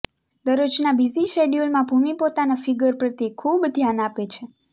દરરોજના busy શેડ્યુલમાં ભૂમિ પોતાના figure પ્રત્યે ખૂબ ધ્યાન આપે છે